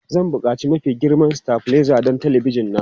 Zan buƙaci mafi girma stabilizer don talabijin na.